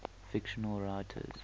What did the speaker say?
fictional writers